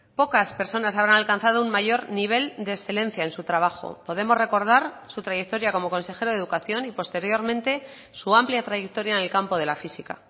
pocas personas habrán alcanzado un mayor nivel de excelencia en su trabajo podemos recordar su trayectoria como consejero de educación y posteriormente su amplia trayectoria en el campo de la física